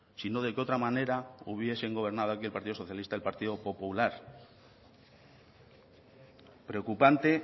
si no de qué otra manera hubiesen gobernado aquí el partido socialista y el partido popular preocupante